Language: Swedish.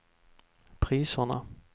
priserna